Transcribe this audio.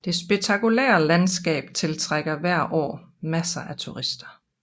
Det spektakulære landskab tiltrækker hvert år masser af turister